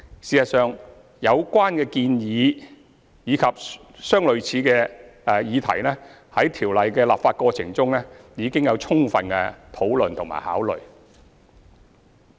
事實上，有關議題及相類似的建議在《條例》的立法過程中已有充分討論和考慮。